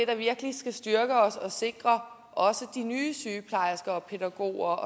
der virkelig skal styrke os og sikre også de nye sygeplejersker og pædagoger